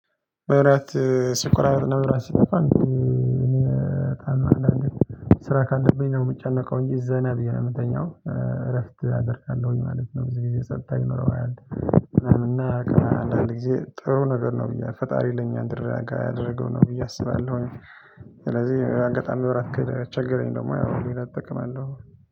በራት ስኩራል ነበር ስኩራል ነበር ስኩራል ነበር ስራ ካለብኝ ነው የምጨነቀው እንጂ ዘነብይ ነው የምተኛው እረፍት አደርጋለሁኝ ማለት ነው። ብዙ ጊዜ ሰጥታኝ ኖረዋል እና አንዳንድ ጊዜ ጥሩ ነገር ነው ብዬ ፈጣሪ ለኛ እንድረጋ ያደረገው ነው ብዬ አስባለሁኝ። ስለዚህ አንገት አንድ ወራት ከቸገረኝ ደግሞ ይሄን አጠቅማለሁ